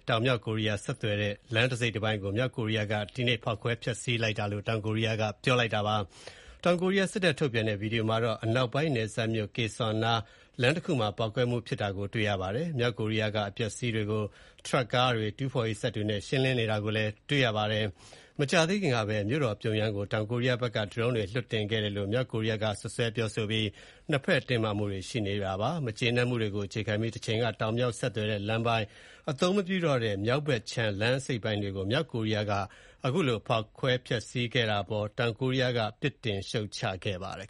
တောင်နဲ့ မြောက်ကိုရီးယား ဆက်သွယ်ထားတဲ့ လမ်းတစိတ်တပိုင်းကို မြောက်ကိုရီးယားက ဒီကနေ့ ဖောက်ခွဲ ဖျက်ဆီး လိုက်တယ်လို့ တောင်ကိုရီးယားက ပြောပါတယ်။ တောင်ကိုရီးယား စစ်တပ်က ထုတ်ပြန်တဲ့ ဗီဒီယိုမှာတော့ အနောက်ပိုင်း နယ်စပ်မြို့ Kaesong နားက လမ်းတခုမှာ ပေါက်ကွဲမှုဖြစ်တာကို တွေ့ရပါတယ်။ မြောက်ကိုရီးယားက အပျက်အစီးတွေကို ထရပ်ကားတွေ၊ တူးဖော်ရေး စက်တွေနဲ့ ရှင်းလင်းနေတာကိုလည်း တွေ့ရပါတယ်။ မကြာသေးခင်ကလည်း မြို့တော် ပြုံယမ်းကို တောင်ကိုရီးယားဘက်က ဒရုန်းတွေနဲ့ ပစ်လွှတ်ခဲ့တယ်လို့ မြောက်ကိုရီးယားက စွပ်စွဲပြောဆိုပြီး နှစ်ဘက် တင်းမာမှုတွေ ရှိနေတာပါ။ မကျေနပ်မှုတွေကို အခြေခံပြီး တချိန်က တောင်-မြောက်ဆက်သွယ်တဲ့ အသုံးမပြုတော့တဲ့ မြောက်ဘက်ခြမ်း လမ်း အစိတ်အပိုင်းတွေကို မြောက်ကိုရီးယားက အခုလို ဖောက်ခွဲဖျက်စီးခဲ့တဲ့ အပေါ် တောင်ကိုးရီးယားက ပြစ်တင်ရှုတ်ချပါတယ်